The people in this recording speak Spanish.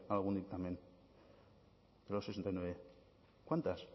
algún dictamen de los sesenta y nueve cuántas